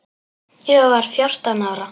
Ég var fjórtán ára.